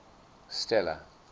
stella